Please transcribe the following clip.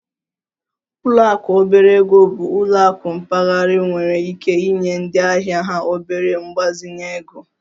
Ụlọ akụ obere ego bụ ụlọ akụ mpaghara nwere ike inye ndị ahịa ha obere mgbazinye ego